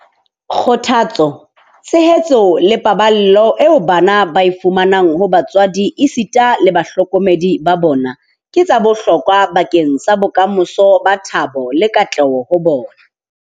Kgothatso, tshehetso le paballo eo bana ba e fumanang ho batswadi esita le bahlokomedi ba bona ke tsa bohlokwa bakeng sa bokamoso ba thabo le katleho ho bona.